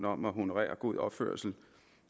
om at honorere god opførsel